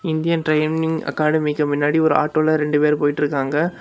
Indian training அகாடமிக்கு முன்னாடி ஒரு ஆட்டோல ரெண்டு பேர் போயிட்டுருக்காங்க.